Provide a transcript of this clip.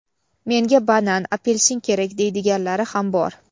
"Menga banan, apelsin kerak, deydiganlari ham bor".